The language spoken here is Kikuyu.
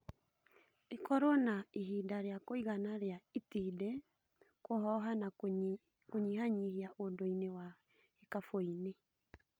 ĩkorwo na ihinda rĩa kũigana rĩa itindiĩ kũhoha na kũnyihanyihia ũndũ inĩ wa gĩkaboni